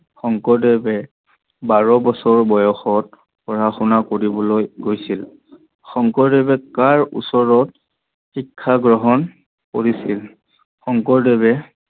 শংকৰদেৱে বাৰ বছৰ বয়ষত পঢ়া শুনা কৰিব গৈছিল। শংকৰদেৱে কাৰ ওচৰত শিক্ষা গ্ৰহন কৰিছিল? শংকৰদেৱে